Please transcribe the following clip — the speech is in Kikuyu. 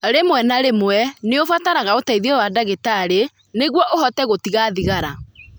Rĩmwe na rĩmwe, nĩ ũbataraga ũteithio wa ndagĩtarĩ nĩguo ũhote gũtiga thigara.